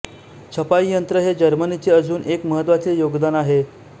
छपाई यंत्र हे जर्मनीचे अजून एक महत्त्वाचे योगदान आहे